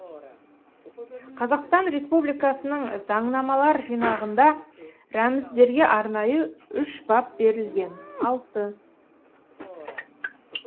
қазақстан республикасының заңнамалар жинағында рәміздерге арнайы үш бап берілген алты